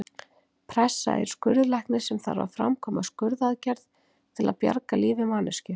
Pressa er skurðlæknir sem þarf að framkvæma skurðaðgerð til að bjarga lífi manneskju.